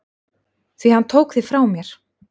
Því hann tók þig frá mér.